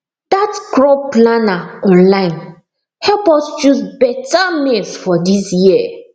that crop planner online help us choose better maize for this year